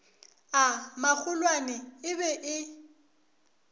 a magolwane e be e